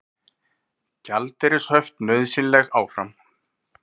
Gjaldeyrishöft nauðsynleg áfram